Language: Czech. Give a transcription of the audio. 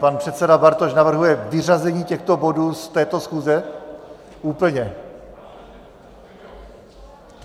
Pan předseda Bartoš navrhuje vyřazení těchto bodů z této schůze úplně?